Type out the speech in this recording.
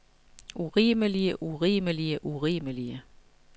urimelige urimelige urimelige